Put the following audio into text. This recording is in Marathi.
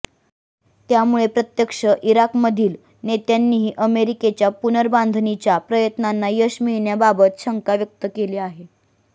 त्यामुळे प्रत्यक्ष इराकमधील नेत्यांनीही अमेरिकेच्या पुनर्बाधणीच्या प्रयत्नांना यश मिळण्याबाबत शंका व्यक्त केली आहे